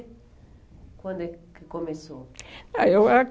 Quando é que começou? Ah eu ah...